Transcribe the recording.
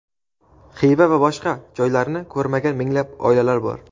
Xiva va boshqa joylarni ko‘rmagan minglab oilalar bor.